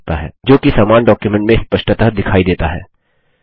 जो कि समान डॉक्युमेंट में स्पष्टतः दिखाई देता है